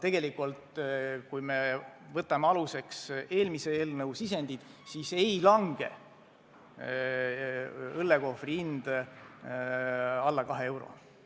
Kui me võtame aluseks eelmise eelnõu sisendid, siis ei lange õllekohvri hind vähem kui 2 eurot.